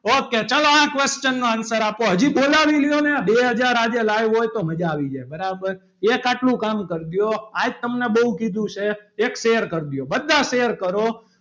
Okay ચાલો આ question નો answer આપો હજી બોલાવી લ્યો ને બે હજાર આજે live હોય તો મજા આવી જાય બરાબર એક આટલું કામ કરજો આજ તમને બહુ કીધું છે. એક share કરજો બધા શેર કરો.